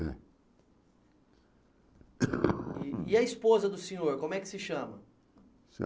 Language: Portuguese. É. E a esposa do senhor, como é que se chama?